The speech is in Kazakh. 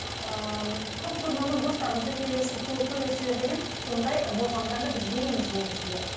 ыыы көп көрмеген достарыңызды көресіздер деген сондай болжамдарды біз береміз негізінде